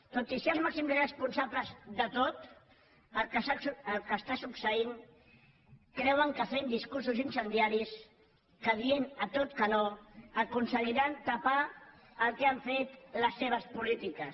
tot i ser els màxims responsables de tot el que està succeint creuen que fent discursos incendiaris que dient a tot que no aconseguiran tapar el que han fet les seves polítiques